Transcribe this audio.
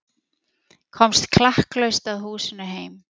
Komst klakklaust að húsinu heima.